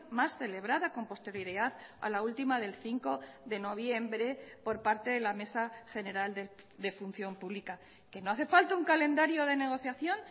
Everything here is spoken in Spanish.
más celebrada con posterioridad a la última del cinco de noviembre por parte de la mesa general de función pública que no hace falta un calendario de negociación